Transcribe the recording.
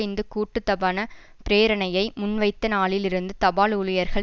இந்த கூட்டுத்தபான பிரேரணையை முன்வைத்த நாளில் இருந்து தபால் ஊழியர்கள்